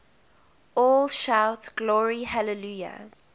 all shout glory hallelujah